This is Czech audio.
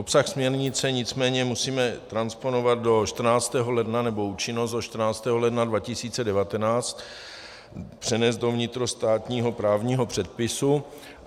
Obsah směrnice nicméně musíme transponovat do 14. ledna, nebo účinnost do 14. ledna 2019 přenést do vnitrostátního právního předpisu.